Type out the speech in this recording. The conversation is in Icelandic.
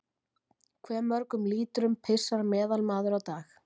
Hve mörgum lítrum pissar meðalmaður á dag?